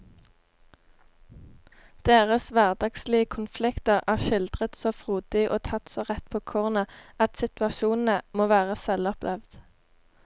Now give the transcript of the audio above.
Deres hverdagslige konflikter er skildret så frodig og tatt så rett på kornet at situasjonene må være selvopplevd.